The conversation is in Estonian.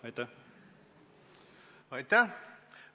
Aitäh!